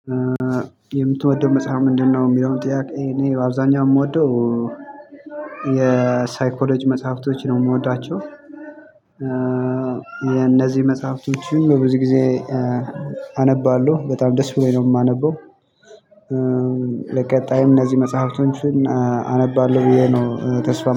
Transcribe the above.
የምትወደው መጽሐፍ ምንድነው? ሚለውን ጥያቄ እኔ በአብዛኛው የምወደው የሳይኮሎጂ መጽሐፍቶች ነው ምወዳቸው። የነዚህ መጽሐፍቶችም ብዙ ጊዜ አነባለሁ በጣም ደስ ብሎኝ ነው ማነበው። ለቀጣይም እነዚህ መጽሐፍቶችን አነባለሁ ብዬ ነው ተስፋ